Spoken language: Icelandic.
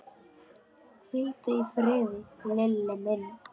Hvíldu í friði, Lilli minn.